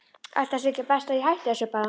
Ætli það sé ekki best að ég hætti þessu bara.